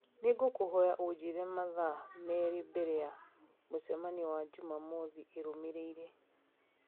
nĩ ngũkũhoya ũnjĩre mathaa merĩ mbere ya mũcemanio wa Jumamothu ĩrũmĩrĩire